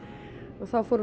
þá fórum